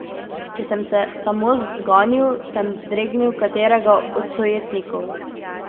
Če sem se samo zganil, sem dregnil katerega od sojetnikov.